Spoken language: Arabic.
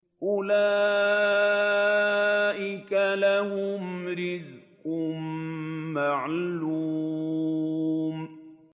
أُولَٰئِكَ لَهُمْ رِزْقٌ مَّعْلُومٌ